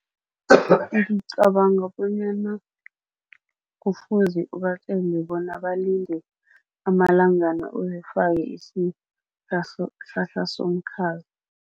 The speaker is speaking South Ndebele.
Ngicabanga bonyana kufuze ubatjele bona balinde amalangana uyifake isihlahla somkhaza.